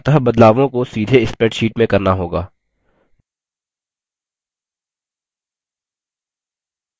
अतः बदलावों को सीधे spreadsheet में करना होगा